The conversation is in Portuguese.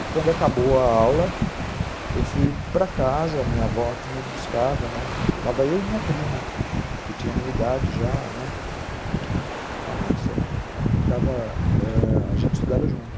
E quando acabou a aula, eu fui para casa, a minha avó que me buscava, né, estava eu e minha prima, que tinha a minha idade já, né, já não sempre, a gente estudava, ãh... a gente estudava junto